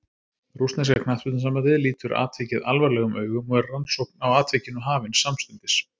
Rússneska knattspyrnusambandið lítur atvikið alvarlegum augum og var rannsókn á atvikinu hafin samstundis.